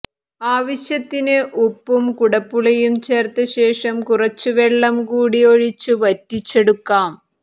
ആവശ്യത്തിന് ഉപ്പും കുടംപുളിയും ചേര്ത്തശേഷം കുറച്ച് വെള്ളം കൂടി ഒഴിച്ച് വറ്റിച്ചെടുക്കാം